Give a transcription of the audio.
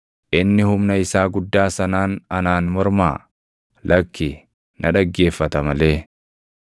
Inni humna isaa guddaa sanaan anaan mormaa? Lakki, na dhaggeeffata malee.